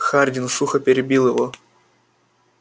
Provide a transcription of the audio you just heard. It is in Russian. хардин сухо перебил его